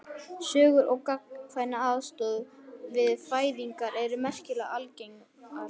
Sögur um gagnkvæma aðstoð við fæðingar eru merkilega algengar.